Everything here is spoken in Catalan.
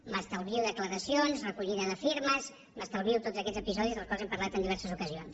m’estalvio declaracions recollida de firmes m’estalvio tots aquests episodis dels quals hem parlat en diverses ocasions